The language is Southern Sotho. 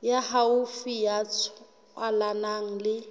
ya haufi ya tswalanang le